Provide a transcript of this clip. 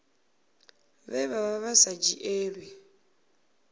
vhe vha vha sa dzhielwi